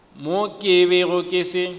mo ke bego ke se